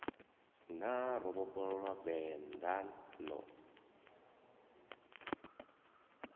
na ro vhofholowa vendḓa ḽo